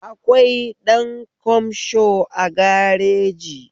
Akwai ɗan kamsho a gareji